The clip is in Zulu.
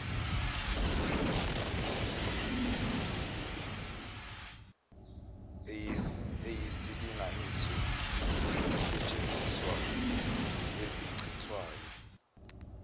eyisilinganiso sezisetshenziswa ezichithwayo